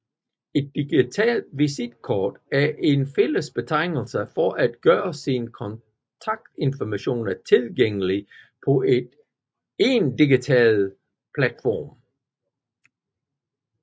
Et digitalt visitkort er en fælles betegnelse for at gøre sine kontaktinformationer tilgængelige på en digital platform